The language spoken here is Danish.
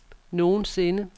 nogensinde